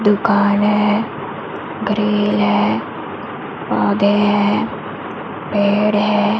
दुकान है ग्रिल है पौधे हैं पेड़ है।